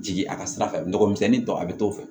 Jigi a ka sira fɛ n nɔgɔmisɛnnin tɔ a bɛ t'o fɛ